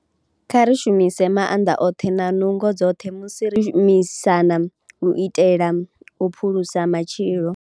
Kha ri shumise maanḓa oṱhe na nungo dzoṱhe musi ri shumisana u itela u phulusa matshilo.